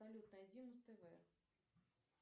салют найди муз тв